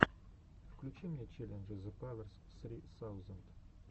включи мне челленджи зепаверс ссри саузенд